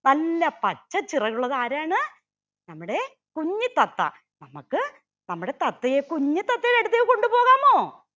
നല്ല പച്ച ചിറകുള്ളത് ആരാണ് നമ്മുടെ കുഞ്ഞി തത്ത നമ്മക്ക് നമ്മുടെ തത്തയെ കുഞ്ഞി തത്തയുടെ അടുത്തേക്ക് കൊണ്ടുപോകാമോ